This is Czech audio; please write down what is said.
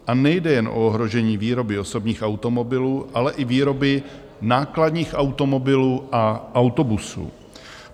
A nejde jen o ohrožení výroby osobních automobilů, ale i výroby nákladních automobilů a autobusů.